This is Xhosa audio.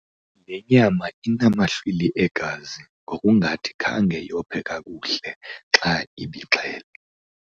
Le nyama inamahlwili egazi ngokungathi khange yophe kakuhle inkuku xa ibixhelwa.